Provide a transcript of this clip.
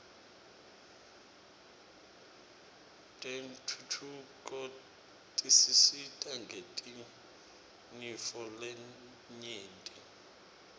tentfutfuko tisisita ngetinifo letnyenti